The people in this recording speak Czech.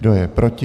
Kdo je proti?